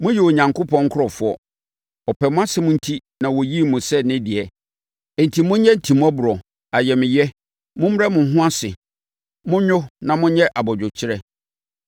Moyɛ Onyankopɔn nkurɔfoɔ. Ɔpɛ mo asɛm enti na ɔyii mo sɛ ne deɛ, enti monyɛ timmɔborɔ, ayamyɛ, mommrɛ mo ho ase, monnwo na monyɛ abodwokyerɛ.